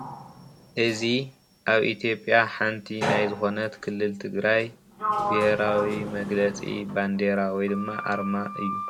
እዚ ኣብ ኢትዮጲያ ሓንቲ ናይ ዝኮነት ክልል ትግራይ ብሄራዊ መግለፂ ባንዴራ ወይ ድማ ኣርማ እዩ።